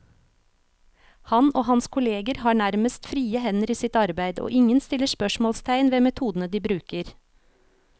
Han og hans kolleger har nærmest frie hender i sitt arbeid, og ingen stiller spørsmålstegn ved metodene de bruker.